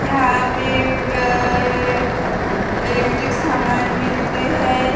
यहां पे ऐ अ इलेक्ट्रिक सामान मिलते हैं।